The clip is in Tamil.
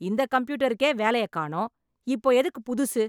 இந்த கம்பியூட்டருக்கே வேலையக் காணோம். இப்போ எதுக்குப் புதுசு?